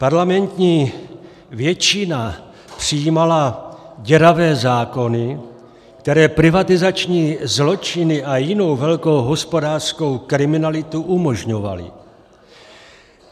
Parlamentní většina přijímala děravé zákony, které privatizační zločiny a jinou velkou hospodářskou kriminalitu umožňovaly.